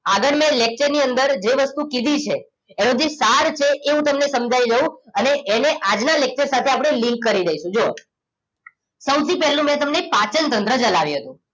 આગળના lecture ની અંદર જે વસ્તુ કીધી છે એનો જે સાર છે એ હું તમને સમજાવી દઉં અને એને આજના lecture સાથે આપણે link કરી દઈશું. જુઓ સૌથી પહેલું મેં તમને પાચનતંત્ર ચલાવ્યું હતું